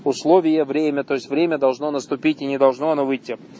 условия время то есть время должно наступить и не должно оно выйти